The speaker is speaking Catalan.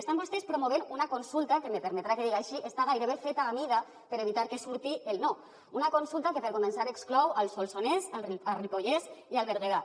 estan vostès promovent una consulta que me permetrà que ho diga així està gairebé feta a mida per evitar que surti el no una consulta que per començar exclou el solsonès el ripollès i el berguedà